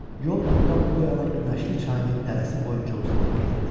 Yol burdan o yana Günəşli çayının dərəsi boyunca uzanıb gedirdi.